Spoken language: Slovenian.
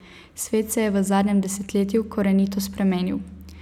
Svet se je v zadnjem desetletju korenito spremenil.